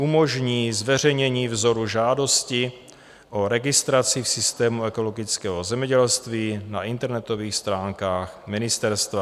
Umožní zveřejnění vzoru žádosti o registraci v systému ekologického zemědělství na internetových stránkách ministerstva.